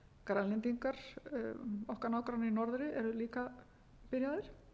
grænlendingar okkar nágrannar í norðri eru líka byrjaðir